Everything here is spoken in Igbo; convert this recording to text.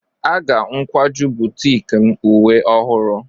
Aga n akwaju butiiki m uwe ọhụrụ.